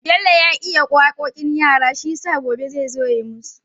Bello ya iya waƙoƙin yara shiyasa gobe zai zo yayi musu